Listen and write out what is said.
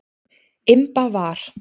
Imba var.